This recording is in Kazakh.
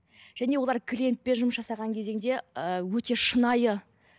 және олар клиентпен жұмыс жасаған кезеңде ыыы өте шынайы